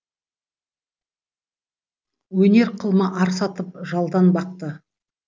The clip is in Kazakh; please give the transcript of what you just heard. өнер қылма ар сатып жалданбақты